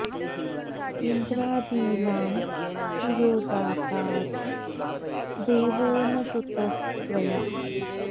इन्द्रादीनां तु यो दाता स देवो न श्रुतस्त्वया